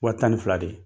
Wa tan ni fila de